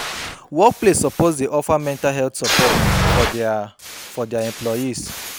Work place soppose dey offer mental health sopport for dia for dia employees